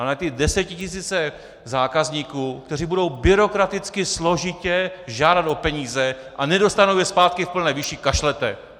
Ale na ty desetitisíce zákazníků, kteří budou byrokraticky složitě žádat o peníze a nedostanou je zpátky v plné výši, kašlete!